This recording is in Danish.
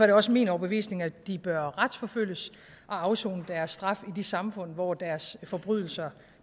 det også min overbevisning at de bør retsforfølges og afsone deres straf i de samfund hvor deres forbrydelser